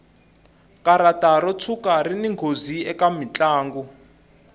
karata ro tshuka rini nghozi eka mutlangi